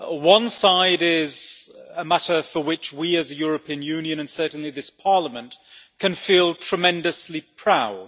One side is a matter for which we, as the European Union, and certainly this Parliament, can feel tremendously proud.